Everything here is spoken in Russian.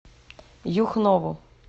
юхнову